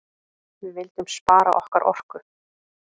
Við vildum spara okkar orku.